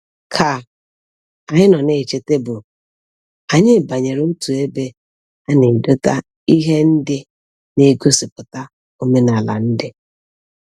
Ka anyi no na-eche tebul, anyi banyere otu ebe a na-edota ihe ndi na-egosiputa omenala ndi.